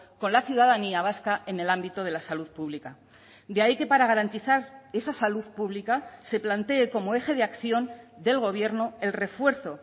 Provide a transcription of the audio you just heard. con la ciudadanía vasca en el ámbito de la salud pública de ahí que para garantizar esa salud pública se plantee como eje de acción del gobierno el refuerzo